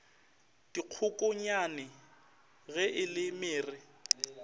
dikgokonyane ge e le mere